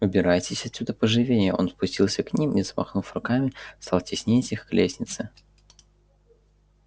убирайтесь отсюда поживее он спустился к ним и замахав руками стал теснить их к лестнице